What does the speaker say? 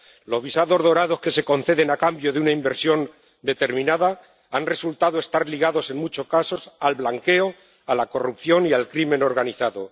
Los visados de oro que se conceden a cambio de una inversión determinada han resultado estar ligados, en muchos casos, al blanqueo, a la corrupción y a la delincuencia organizada.